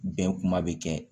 Bɛn kuma bɛ kɛ